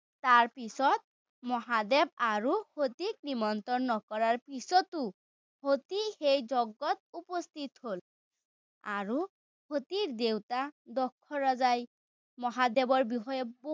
তাৰ পিছত, মহাদেৱ আৰু সতীক নিমন্ত্ৰণ নকৰাৰ পিছতো, সতী এই যজ্ঞত উপস্থিত হ'ল। আৰু, সতীৰ দেউতা দক্ষ ৰজাই মহাদেৱৰ বিষয়ে